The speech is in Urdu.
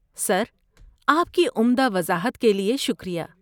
سر، آپ کی عمدہ وضاحت کے لیے شکریہ۔